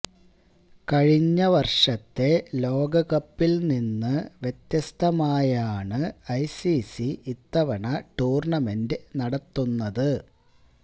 കഴിഞ്ഞ വര്ഷത്തെ ലോകകപ്പില് നിന്ന് വ്യത്യസ്തമായാണ് ഐസിസി ഇത്തവണ ടൂര്ണ്ണമെന്റ് നടത്തുന്നത്